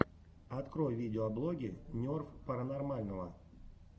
открой видеоблоги нерв паранормального